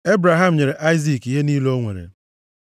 Ebraham nyere Aịzik ihe niile o nwere.